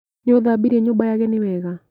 Nĩũthambirie nyumba ya ageni wega?